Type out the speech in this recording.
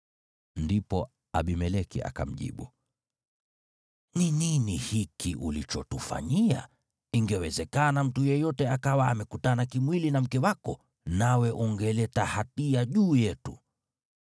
Ndipo Abimeleki akamjibu, “Ni nini hiki ulichotufanyia? Ingewezekana mtu yeyote akawa amekutana kimwili na mke wako, nawe ungeleta hatia juu yetu.”